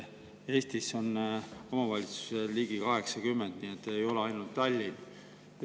Eestis on omavalitsusi ligi 80, ei ole ainult Tallinn.